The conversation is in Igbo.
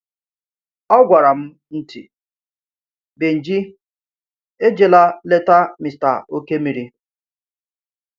O gwara m ntị: Benji, ejela leta Mr. Okemiri.